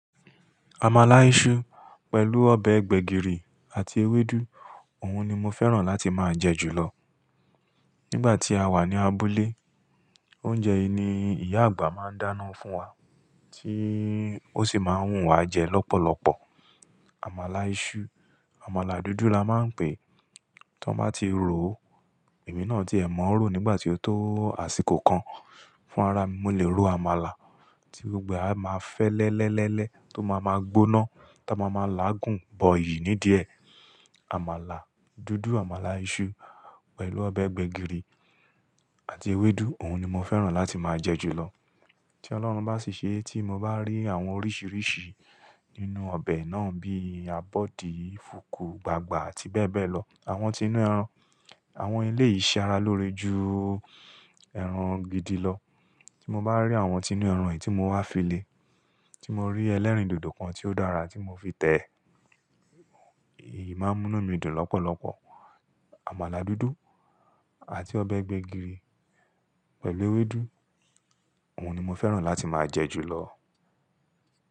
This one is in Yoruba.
Àmàlà iṣu pẹ̀lú ọbẹ̀ gbẹ̀gìrì àti ewédú òun ni mọ fẹ́ràn láti máa jẹ jù lọ. Nígbà tí a wà ní abúlé, oúnjẹ yìí ni ìyá àgbà máa ń dáná fún wa tí ó ṣì máa ń wùn wá jẹ lọ́pọ̀lọpọ̀. Àmàlà iṣu, àmàlà dúdú la máa ń pè, tó bá ti ròó, èmi náà tiẹ́ mọ́ rò nígbà tí ó tó àsìkò kan. Fún ara mi, mo lè ro àmàlà tí gbogbo á máa fẹ́lẹ́lẹ́lẹ́lẹ́ tó máa máa gbóná ta ma má máa làágùn bọ ìyí nídìẹ. Àmàlà dúdú, àmàlà iṣu pẹ̀lú ọbẹ̀ gbẹ̀gìrì àti ewédú òun ni mo fẹ́ràn láti máa jẹ jù lọ. Tí Ọlọ́run bá ṣì ṣe é tí mọ bá rí àwọn oríṣìíríṣìí nínú ọbẹ̀ náà bí abọ́dí, fùkù, gbàgbá àti bẹ́ẹ̀ bẹ́ẹ̀ lọ, àwọn ti inú ẹran, àwọn ilé ìṣe ara lóore ju ẹran gidi lọ. Tí mọ bá rí àwọn ti inú ẹran yìí tí mo wá fi lè, tí mo rí ẹlẹ́rìndòdò kan tí ó dára tí mo fi tẹ̀ ẹ, èyí máa ń mú nu midùn lọ́pọ̀lọpọ̀. Àmàlà dúdú àti ọbẹ̀ gbẹ̀gìrì pẹ̀lú ewédú òun ni mo fẹ́ràn láti máa jẹ jù lọ.